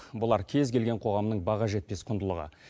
бұлар кез келген қоғамның баға жетпес құндылығы